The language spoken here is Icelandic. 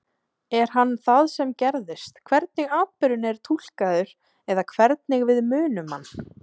Er hann það sem gerðist, hvernig atburðurinn er túlkaður eða hvernig við munum hann?